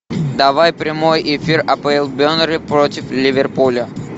давай прямой эфир апл бернли против ливерпуля